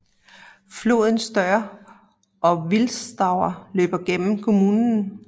Floden Stör og Wilsterau løber gennem kommunen